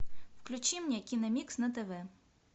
включи мне киномикс на тв